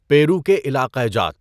پیرو کے علاقہ جات